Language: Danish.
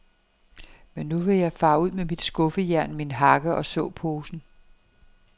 Men nu vil jeg fare ud med mit skuffejern, min hakke og såposen.